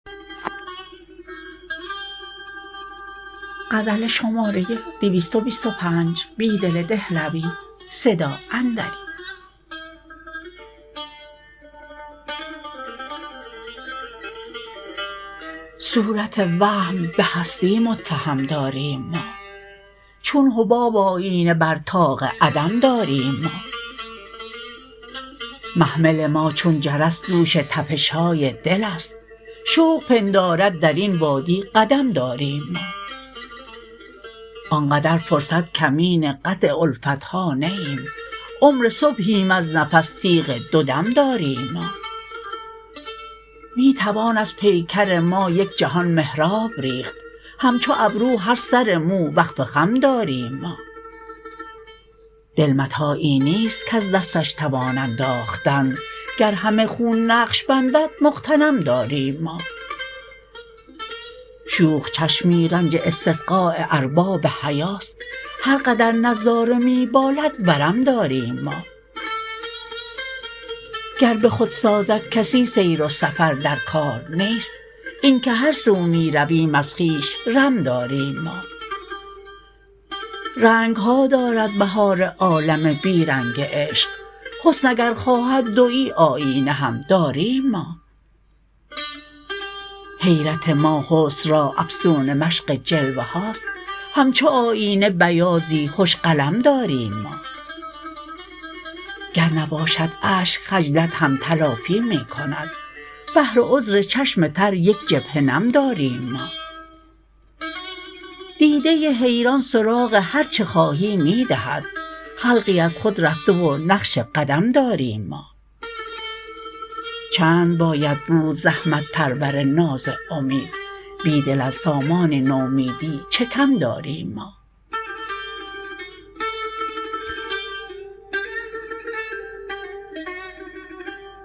صورت وهم به هستی متهم داریم ما چون حباب آیینه بر طاق عدم داریم ما محمل ماچون جرس دوش تپشهای دل است شوق پندارد درین وادی قدم داریم ما آنقدر فرصت کمین قطع الفتها نه ایم عمر صبحیم از نفس تیغ دو دم داریم ما می توان از پیکرما یک جهان محراب ریخت همچوابرو هرسر مو وقف خم داریم ما دل متاعی نیست کز دستش توان انداختن گرهمه خون نقش بندد مغتنم داریم ما شوخ چشمی رنج استسقاء ارباب حیاست هرقدر نظاره می بالد ورم داریم ما گر به خود سازدکسی سیر وسفر درکارنیست اینکه هرسو می ر ویم از خویش رم داریم ما رنگها دارد بهار عالم بیرنگ عشق حسن اگر خوا هد دویی آیینه هم داریم ما حیرت ما حسن را افسون مشق جلوه هاست همچوآیینه بیاضی خوش قلم داریم ما گر نباشد اشک خجلت هم تلافی می کند بهر عذر چشم تریک جبهه نم داریم ما دیده حیران سراغ هرچه خواهی می دهد خلقی از خود رفته و نقش قدم داریم ما چند باید بود زحمت پرور ناز امید بیدل از سامان نومیدی چه کم داریم ما